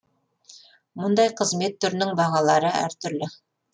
мұндай қызмет түрінің бағалары әр түрлі